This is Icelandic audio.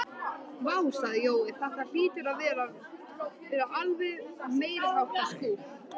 Vá sagði Jói, þetta hlýtur að vera alveg meiriháttar skúr